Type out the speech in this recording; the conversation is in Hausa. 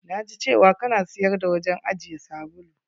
Na ji cewa ka na siyar da wajen ajiye sabulu.